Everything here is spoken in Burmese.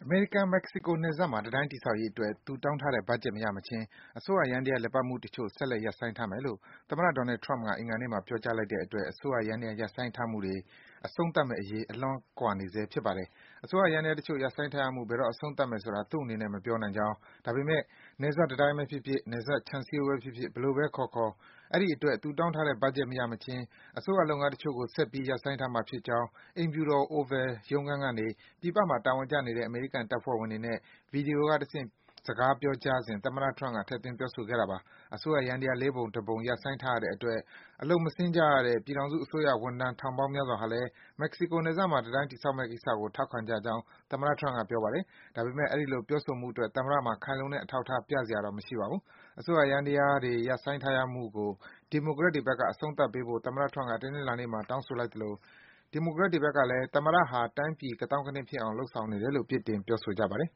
မေရိကန်-မက္ကဆီကိုနယ်စပ်မှာ တံတိုင်းတည်ဆောက်ရေးအတွက် သူတောင်းထားတဲ့ ဘတ်ဂျက် မရမချင်း အစိုးရယန္တရား လည်ပတ်မှုတချို့ ဆက်လက် ရပ်ဆိုင်းထားမယ်လို့ သမ္မတ Donald Trump က အင်္ဂါနေ့မှာ ပြောကြားလိုက်တဲ့အတွက် အစိုးရယန္တရား ရပ်ဆိုင်းထားရမှုတွေ အဆုံးသတ်မယ့်အရေးနဲ့ အလှမ်းကွာဝေးနေဆဲ ဖြစ်ပါတယ်။ အစိုးရ ယန္တရားတွေ တချို့ ရပ်ဆိုင်းထားရမှုတွေ ဘယ်တော့ အဆုံးသတ်မယ်ဆိုတာကို သူ့အနေနဲ့ မပြောနိုင်ကြောင်း၊ ဒါပေမယ့် နယ်စပ်တံတိုင်းဘဲဖြစ်ဖြစ်၊ နယ်စပ် ခြံစည်းရိုးဘဲဖြစ်ဖြစ် ဘယ်လိုဘဲ ခေါ်ခေါ် အဲဒီအတွက် သူတောင်းထားတဲ့ ဘတ်ဂျက် မရမချင်း အစိုးရလုပ်ငန်းတချို့ကို ဆက်ပြီး ရပ်ဆိုင်းထားမှာ ဖြစ်ကြောင်း အိမ်ဖြူတော် Oval ရုံးခန်းကနေ ပြည်ပမှာ တာဝန်ကျနေတဲ့ အမေရိကန်တပ်ဖွဲ့ဝင်တွေနဲ့ ဗွီဒီယိုကတဆင့် စကားပြောကြားစဉ် သမ္မတ Trump က ထည့်သွင်း ပြောဆိုခဲ့တာပါ။ အစိုးရယန္တရား ၄ ပုံ ၁ ပုံ ရပ်ဆိုင်းထားရတဲ့အတွက် အလုပ်မဆင်းကြရတဲ့ ပြည်ထောင်စုအစိုးရ ဝန်ထမ်း ထောင်ပေါင်းများစွာဟာလည်း မက္ကဆီကိုနယ်စပ်မှာ တံတိုင်း တည်ဆောက်မယ့်ကိစ္စကို ထောက်ခံကြကြောင်း သမ္မတ Trump က ပြောပါတယ်။ ဒါပေမယ့် အဲဒီလို ပြောဆိုမှုအတွက် သမ္မတမှာ ခိုင်လုံတဲ့ အထောက်အထား ပြစရာ မရှိပါဘူး။ အစိုးရယန္တရားတွေ ရပ်ဆိုင်းထားရမှုကို ဒီမိုကရက်တွေဘက်က အဆုံးသတ်ပေးဖို့ သမ္မတ Trump က တနင်္လာနေ့မှာ တောင်းဆိုလိုက်သလို ဒီမိုကရက်တွေဘက်ကလည်း သမ္မတဟာ တိုင်းပြည် ကသောင်းကနင်းဖြစ်အောင် လုပ်ဆောင်နေတယ်လို့ အပြစ်တင် ပြောဆိုကြပါတယ်